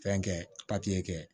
Fɛn kɛ papiye kɛ